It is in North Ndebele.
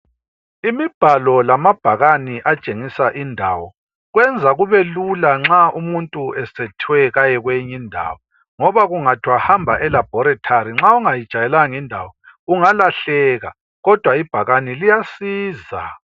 Imibhalo lamabhakani atshengisa indawo, kwenza kubelula nxa umuntu sekuthiwe aye kweyinye indawo, ngoba nxa kungathiwa hamba elaboratory nxa ungayijwayelanga indawo ungalahleka kodwa ibhakane liyasiza.